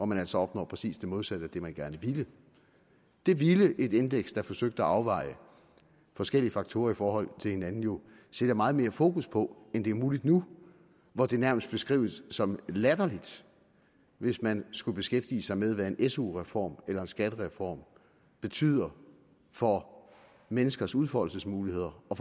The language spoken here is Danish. man altså opnår præcis det modsatte af det man gerne ville det ville et indeks der forsøgte at afveje forskellige faktorer i forhold til hinanden jo sætte meget mere fokus på end det er muligt nu hvor det nærmest beskrives som latterligt hvis man skulle beskæftige sig med hvad en su reform eller en skattereform betyder for menneskers udfoldelsesmuligheder og